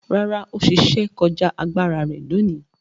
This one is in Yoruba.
Rárá, ó ṣe iṣẹ́ kọjá agbára rẹ̀ lóòní?